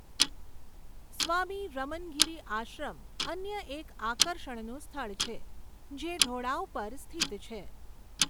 સ્વામી રમનગિરી આશ્રમ અન્ય એક આકર્ષણનું સ્થળ છે, જે ઢોળાવ પર સ્થિત છે.